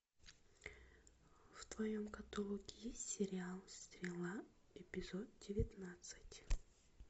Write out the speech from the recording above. в твоем каталоге есть сериал стрела эпизод девятнадцать